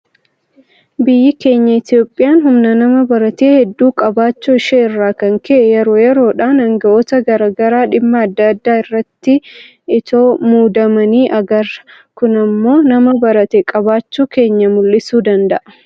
Biyyi keenya Itoophiyaan humna nama baratee hedduu qabaachuu ishee irraa kan ka'e yeroo yeroodhaan aanga'oota garaa garaa dhimma adda addaa irratti itoo muudamanii agarra. Kun immoo nama barate qabaachuu keenya mul'isuu danda'a.